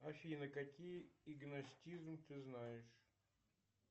афина какие игностизм ты знаешь